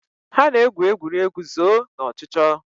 Ha na-egwu egwuregwu zoo na ọchụchọ.